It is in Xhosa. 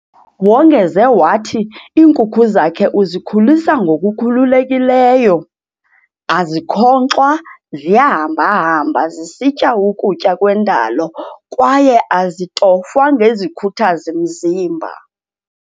Wongeze wathi iinkukhu zakhe uzikhulisa ngokukhululekileyo, azikhonkxwa ziyahamba-hamba zisitya ukutya kwendalo kwaye azitofwa ngezikhuthazi-mzimba.